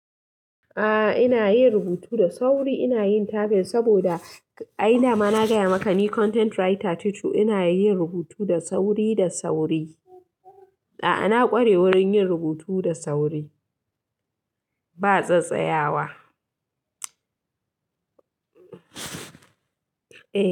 A'a, ina yin rubutu da sauri, ina yin tafin saboda a da ma na gaya maka ni content writer ce, to ina yin rubutu da sauri da sauri. A'a, na ƙware wurin yin rubutu da sauri, ba tsattsayawa. Eh.